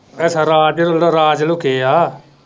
ਅੱਛਾ ਰਾਜ ਰਾਜ ਲੁਕੇ ਆ